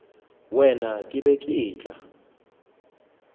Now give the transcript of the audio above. wena ke be ke tla